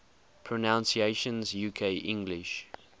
pronunciations uk english